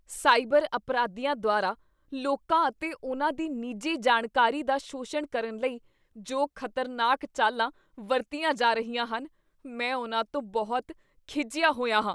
Cyber ਅਪਰਾਧੀਆਂ ਦੁਆਰਾ ਲੋਕਾਂ ਅਤੇ ਉਨ੍ਹਾਂ ਦੀ ਨਿੱਜੀ ਜਾਣਕਾਰੀ ਦਾ ਸ਼ੋਸ਼ਣ ਕਰਨ ਲਈ ਜੋ ਖਤਰਨਾਕ ਚਾਲਾਂ ਵਰਤੀਆਂ ਜਾ ਰਹੀਆਂ ਹਨ, ਮੈਂ ਉਹਨਾਂ ਤੋਂ ਬਹੁਤ ਖਿਝਿਆ ਹੋਇਆ ਹਾਂ।